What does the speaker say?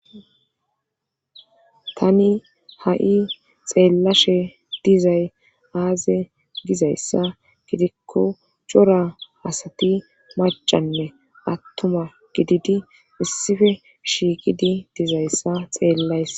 tani ha'i xeellashe dizay aaze gizayssa gidikko cora asati macanne attuma gididi issife shiiqidi dizayssa xeellaysa